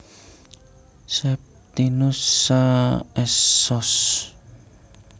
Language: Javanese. Septinus Saa S Sos